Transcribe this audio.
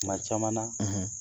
Kuma caman na